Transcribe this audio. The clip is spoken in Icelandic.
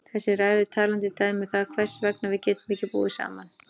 Þessi ræða er talandi dæmi um það hvers vegna við getum ekki búið saman.